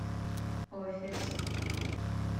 офис